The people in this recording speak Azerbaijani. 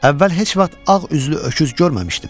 Əvvəl heç vaxt ağ üzlü öküz görməmişdim.